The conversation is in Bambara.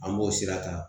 An b'o sira ta